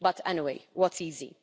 But anyway, what's easy?